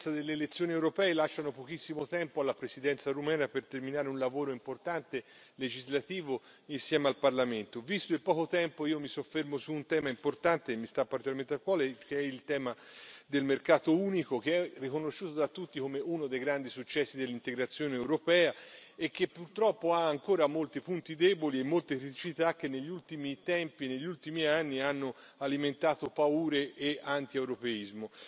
L'imminenza delle elezioni europee lascia pochissimo tempo alla Presidenza rumena per terminare un lavoro legislativo importante insieme al Parlamento. Visto il poco tempo io mi soffermo su un tema importante che mi sta particolarmente a cuore, che è il tema del mercato unico, che è riconosciuto da tutti come uno dei grandi successi dell'integrazione europea e che purtroppo ha ancora molti punti deboli e molte criticità che negli ultimi tempi, negli ultimi anni hanno alimentato paure e antieuropeismo.